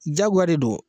Jagoya de do